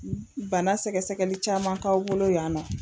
Bana sɛgɛgɛli caman k'aw bolo yan nɔ